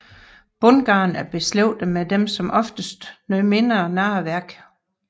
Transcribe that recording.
Bundgarn er beslægtede med de som oftest noget mindre narreværk